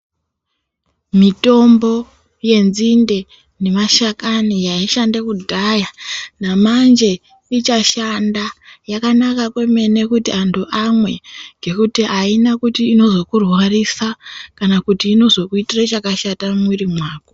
Mitombo yenzinde nemashakani yaishande kudhaya, namanje ichashanda. Yakanaka kwemene kuti antu amwe ,ngekuti aina kuti inozokurwarisa kana kuti inozokuitire chakashata mumwiri mwako.